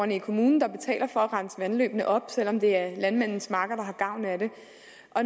i kommunen der betaler for at vandløbene renses op selv om det er landmandens marker der har gavn af det